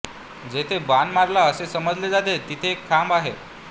जेथे बाण मारला असे समजले जाते तिथे एक खांब आहे